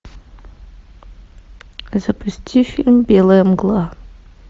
запусти фильм белая мгла